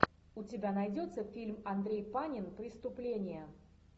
у тебя найдется фильм андрей панин преступление